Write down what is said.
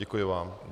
Děkuji vám.